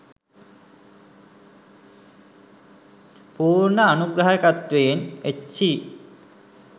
පුර්ණ අනුග්‍රහාකත්වයෙන් එච්.සී.